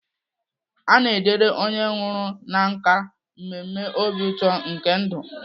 A na-edere onye nwụrụ na nkà mmemme obi ụtọ nke ndụ.